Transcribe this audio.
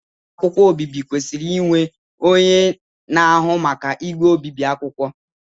ụlọ ahịa obibi kwesịrị inwe onye na-ahụ maka igwe obibi akwụkwọ